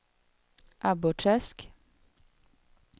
Abborrträsk